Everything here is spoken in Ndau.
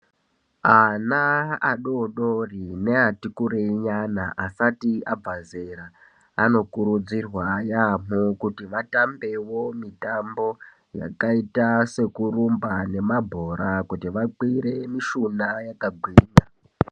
Ana adodori ne ati kurei ayana asati abva zera anokurudzirwa yamho kuti vatambewo mitambo yakaita sekurumba nemabhora kuti vakwire mishuna yakagwinya.